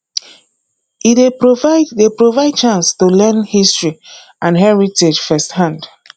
e dey provide dey provide chance to learn history and heritage firsthand